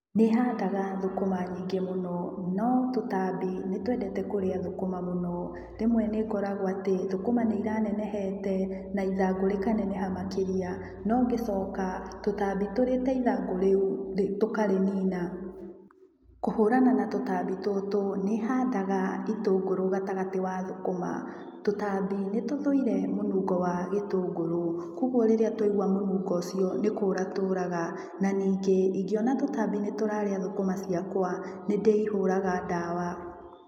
Nĩhandaga thũkũma nyingĩ mũno no tũtambi nĩtwendete kũrĩa thũkũma mũno. Rĩmwe nĩngoraga atĩ thũkũma nĩ iranenehete na ithangũ rĩkaneneha makĩria no ngĩcoka tũtambi tũrĩte ithangũ rĩũ tũkarĩnina. Kũhũrana na tũtambi tũtũ nĩhandaga itũngũru gatagati wa thũkuma. Tũtambi nĩtũthuire mũnungo wa gĩtungũrũ na koguo rĩrĩa twaigua mũnungo ũcio nĩkũra tũraga. Na ningĩ ingĩona tũtambi nĩtũrarĩa thũkũma ciakwa nĩndĩihũraga ndawa.